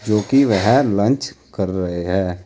जोकि वह लंच कर रहे हैं।